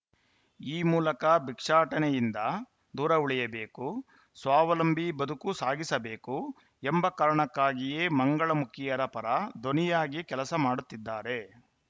ಈ ಮೂಲಕ ಭಿಕ್ಷಾಟನೆಯಿಂದ ದೂರ ಉಳಿಯಬೇಕು ಸ್ವಾವಲಂಬಿ ಬದುಕು ಸಾಗಿಸಬೇಕು ಎಂಬ ಕಾರಣಕ್ಕಾಗಿಯೇ ಮಂಗಳಮುಖಿಯರ ಪರ ಧ್ವನಿಯಾಗಿ ಕೆಲಸ ಮಾಡುತ್ತಿದ್ದಾರೆ